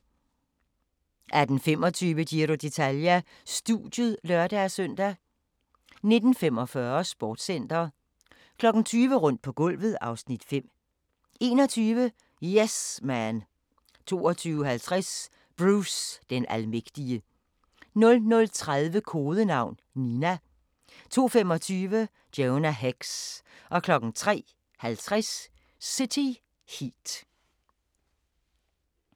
18:25: Giro d'Italia: Studiet (lør-søn) 19:45: Sportscenter 20:00: Rundt på gulvet (Afs. 5) 21:00: Yes Man 22:50: Bruce den almægtige 00:30: Kodenavn: Nina 02:25: Jonah Hex 03:50: City Heat